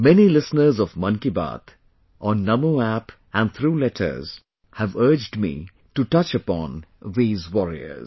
Many listeners of Mann Ki Baat, on NamoApp and through letters, have urged me to touch upon these warriors